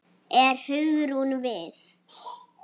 Er Hugrún við?